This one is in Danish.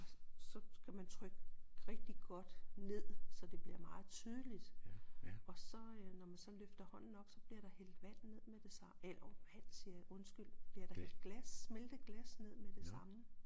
Så skal man trykke rigtig godt ned så det bliver meget tydeligt og så øh når man så løfter hånden op så bliver der hældt vand ned med det hov vand siger jeg undskyld bliver der hældt glas smeltet glas ned med det samme